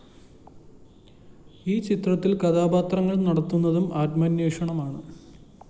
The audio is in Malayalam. ഈ ചിത്രത്തില്‍ കഥാപാത്രങ്ങള്‍ നടത്തുന്നതും ആത്മാന്വേഷണമാണ്